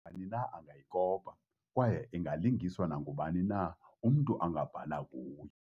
Nabani na angayikopa, kwaye ingalungiswa nangubani na, umntu angabhala kuyo.